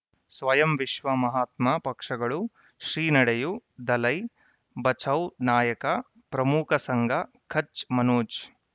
ಸ್ವಯಂ ವಿಶ್ವ ಮಹಾತ್ಮ ಪಕ್ಷಗಳು ಶ್ರೀ ನಡೆಯೂ ದಲೈ ಬಚೌ ನಾಯಕ ಪ್ರಮುಖ ಸಂಘ ಕಚ್ ಮನೋಜ್